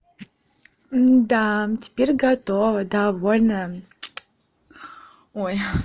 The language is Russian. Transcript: да теперь готова довольная ой